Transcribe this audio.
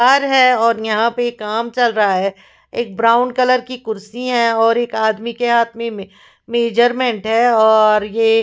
घर है और यहाँ पे काम चल रहा है एक ब्राउन कलर की कुर्सी है और एक आदमी के हाथ में में मेजरमेंट है और ये--